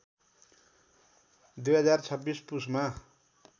२०२६ पुसमा